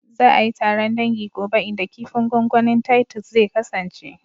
Za a yi taron dangi gobe inda kifin gwangwanin titus zai kasance